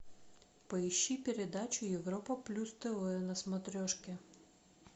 поищи передачу европа плюс тв на смотрешке